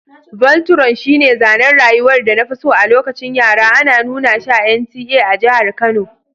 Voltron shine zanen rayuwar da na fi so a lokacin yara, ana nuna shi a NTA a jihar Kano.